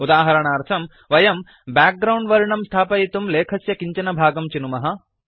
उदाहरणार्थं वयं background वर्णं स्थापयितुं लेखस्य किञ्चन भागं चिनुमः